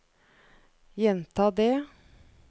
gjenta det